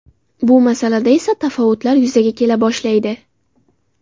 Bu masalada esa tafovutlar yuzaga kela boshlaydi.